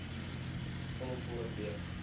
vul vorm b